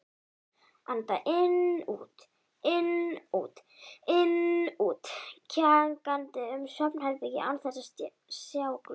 Anda inn-út-inn-út-inn-út, kjagandi um svefnherbergið án þess að sjá glóru.